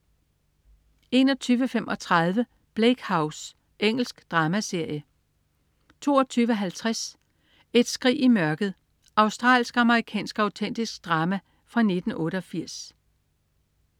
21.35 Bleak House. Engelsk dramaserie 22.50 Et skrig i mørket. Australsk-amerikansk autentisk drama fra 1988